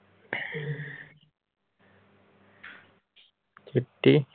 ਚਿੱਟੀ।